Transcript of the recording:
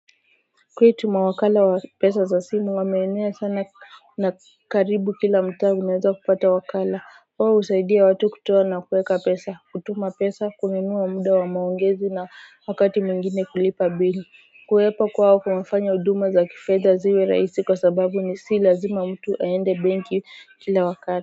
Kwetu mawakala wa pesa za simu wameenea sana na karibu kila mtaa unaweza kupata wakala wao husaidia watu kutoa na kuweka pesa kutuma pesa kununua muda wa maongezi na wakati mwingine kulipa bili kuwepo kwao kumefanya huduma za kifedha ziwe rahisi kwa sababu ni si lazima mtu aende benki kila wakati.